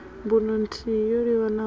mbuno nthihi yo livhanaho na